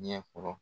Ɲɛkɔrɔ